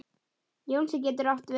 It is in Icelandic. Jónsi getur átt við